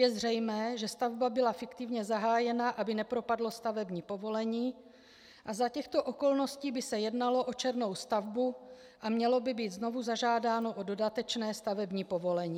Je zřejmé, že stavba byla fiktivně zahájena, aby nepropadlo stavební povolení, a za těchto okolností by se jednalo o černou stavbu a mělo by být znovu zažádáno o dodatečné stavební povolení.